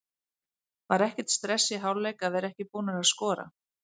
Var ekkert stress í hálfleik að vera ekki búnar að skora?